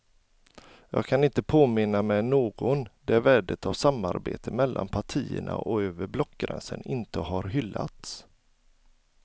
Jag kan inte påminna mig någon där värdet av samarbete mellan partierna och över blockgränsen inte har hyllats.